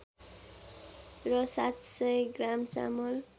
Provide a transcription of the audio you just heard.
र ७०० ग्राम चामल